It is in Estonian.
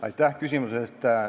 Aitäh küsimuse eest!